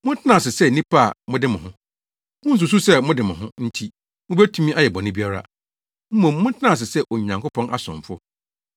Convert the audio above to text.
Montena ase sɛ nnipa a mode mo ho. Munnsusuw sɛ mo de mo ho nti mubetumi ayɛ bɔne biara. Mmom, montena ase sɛ Onyankopɔn asomfo.